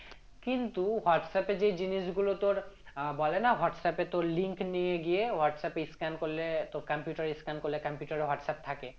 কিন্তু আস্তে আস্তে যে জিনিসগুলো তোর আহ বলেনা হোয়াটসঅ্যাপে তোর link নিয়ে গিয়ে হোয়াটসঅ্যাপে scan করলে তোর computer এ scan করলে তোর computer এ হোয়াটসঅ্যাপ থাকে